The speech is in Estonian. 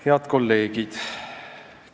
Head kolleegid!